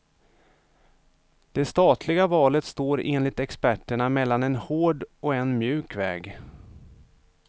Det statliga valet står enligt experterna mellan en hård och en mjuk väg.